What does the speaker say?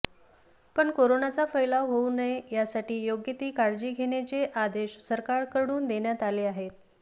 पण कोरोनाचा फैलाव होऊ नये यासाठी योग्य ती काळजी घेण्याचे आदेश सरकारकडून देण्यात आले आहेत